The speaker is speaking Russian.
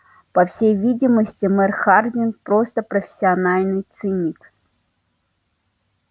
по всей видимости мэр хардин просто профессиональный циник